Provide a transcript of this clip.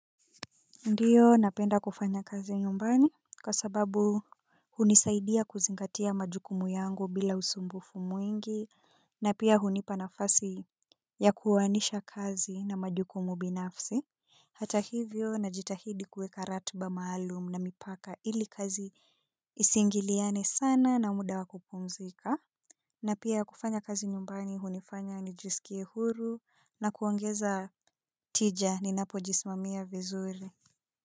Ndiyo napenda kufanya kazi nyumbani kwa sababu hunisaidia kuzingatia majukumu yangu bila usumbufu mwingi na pia hunipa nafasi ya kuoanisha kazi na majukumu mingi. Hata hivyo najitahidi kuweka ratba maalum na mipaka ili kazi isingiliane sana na muda wa kupumzika. Na pia kufanya kazi nyumbani hunifanya nijisikie huru na kuongeza tija ninapojisimamia vizuri.